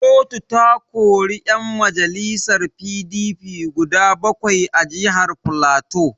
Kotu ta kori yan majalisar PDP guda bakwai a jihar Filato.